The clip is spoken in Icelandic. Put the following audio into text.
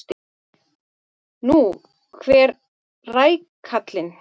Nú, hver rækallinn!